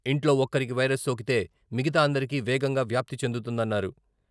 ఇంట్లో ఒక్కరికి వైరస్ సోకితే మిగతా అందరికీ వేగంగా వ్యాప్తి చెందుతుందన్నారు.